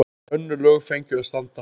Önnur lög fengju að standa.